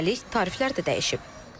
Üstəlik tariflər də dəyişib.